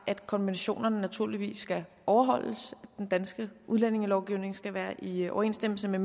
at konventionerne naturligvis skal overholdes og at den danske udlændingelovgivning skal være i overensstemmelse med